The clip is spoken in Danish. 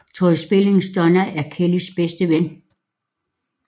Tori Spellings Donna er Kelly bedste ven